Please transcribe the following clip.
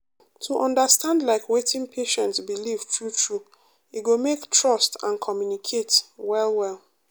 to understand like wetin patient believe true true e go make trust and communicate well well.